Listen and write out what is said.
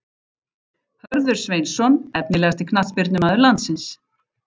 Hörður Sveinsson Efnilegasti knattspyrnumaður landsins?